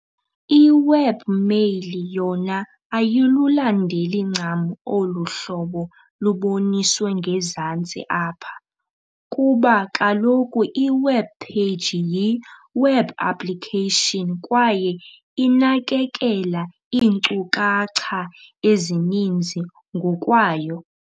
I-Webmail yona ayilulandeli ncam olu hlobo luboniswe ngezantsi apha, kuba kaloku i-webpage yi- web application kwaye inakekela iinkcukacha ezininzi ngokwayo.